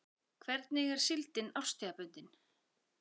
Hvernig er síldin árstíðabundin?